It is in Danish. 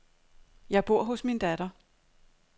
Jeg bor hos min datter.